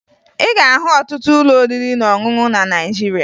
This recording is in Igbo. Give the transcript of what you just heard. Ị ga-ahụ ọtụtụ ụlọ oriri na ọṅụṅụ na Naịjirịa